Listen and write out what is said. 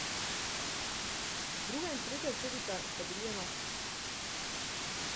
Druga in tretja celica sta bili enaki.